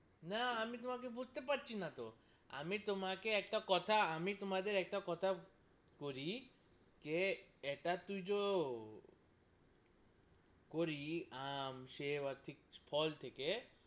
না আমি তোমাকে বুঝতে পারছি না তো আমি তোমাকে একটা কথা আমি তোমাকে একটা কথা করি জে ইটা তুই জো করি আম সে ফল থেকে,